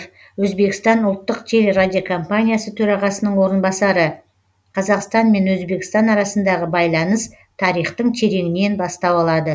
өзбекстан ұлттық телерадиокомпаниясы төрағасының орынбасары қазақстан мен өзбекстан арасындағы байланыс тарихтың тереңінен бастау алады